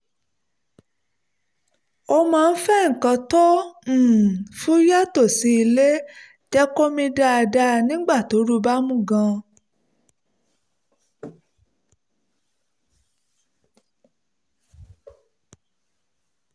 ó máa ń fẹ́ nǹkan tó um fúyẹ́ tó sì lè jẹ́ kó mí dáadáa nígbà tí ooru bá mú gan-an